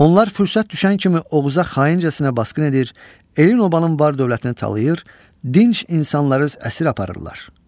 Onlar fürsət düşən kimi Oğuzə xaincəsinə basqın edir, elin obanın var-dövlətini talayır, dinc insanları əsir aparırlar.